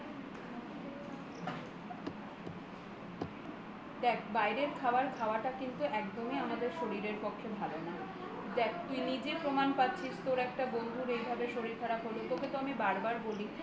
বাইরের খাবার খাওয়াটা কিন্তু একদমই আমাদের শরীরের পক্ষে ভালো না দেখ তুই নিজে প্রমাণ পাচ্ছিস তোর এই রকম একটা বন্ধুর এইভাবে শরীর খারাপ হলো তোকে তো আমি বারবার বলি